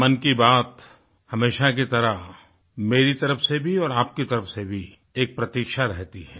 मन की बात हमेशा की तरह मेरी तरफ से भी और आपकी तरफ से भी एक प्रतीक्षा रहती है